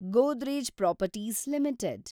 Godrej Properties limited